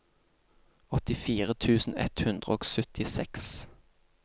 åttifire tusen ett hundre og syttiseks